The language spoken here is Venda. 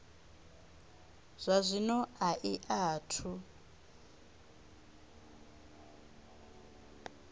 zwa zwino a i athu